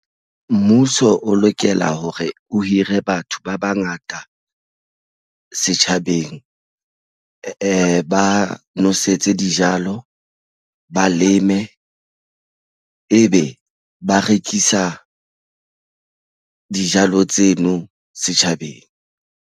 Mmuso o lokela hore o hire batho ba bangata setjhabeng ba nwesetse dijalo ba leme ebe ba rekisa dijalo tseno setjhabeng.